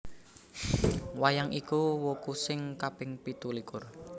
Wayang iku wuku sing kaping pitulikur